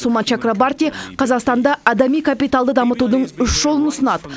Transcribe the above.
сума чакрабарти қазақстанда адами капиталды дамытудың үш жолын ұсынады